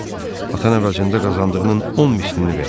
Atan əvəzində qazandığının 10 mislini verərdi.